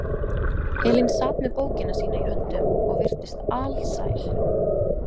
Elín sat með bókina sína í höndum og virtist alsæl.